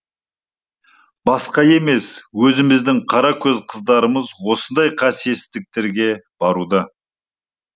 басқа емес өзіміздің қара көз қыздарымыз осындай қасиетсіздіктерге баруда